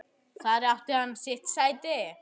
Þar átti hann sitt sæti.